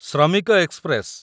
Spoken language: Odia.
ଶ୍ରମିକ ଏକ୍ସପ୍ରେସ